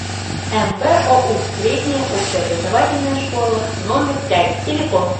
мбоу средняя общеобразовательная школа номер пять телефон